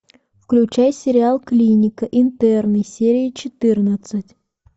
включай сериал клиника интерны серия четырнадцать